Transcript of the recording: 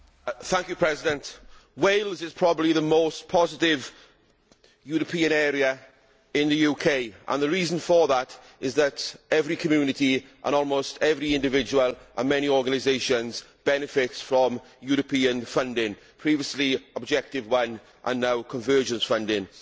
Mr President, Wales is probably the most positively European area in the UK, and the reason for that is that every community, almost every individual and many organisations benefit from European funding, formerly Objective 1 and now convergence funding.